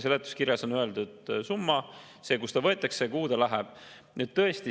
Seletuskirjas on öeldud summa, see, kust ta võetakse ja kuhu ta läheb.